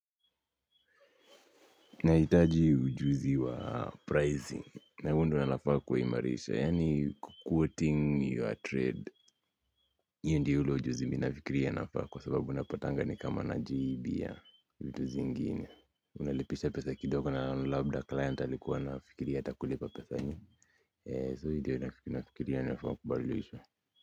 Nahitaji ujuzi wa pricing na huo ndo nafaa kuimarisha yaani kuquoting your trade hiyo ndo ile ujuzi mimi nafikiri nafaa kwa sababu unapatanga ni kama na jibia vitu zingine. Unalipisha pesa kidogo na labda client alikuwa anafikiria atakulipa pesa nyingi. So hii ilo nafikiria nafaa kubadilisha.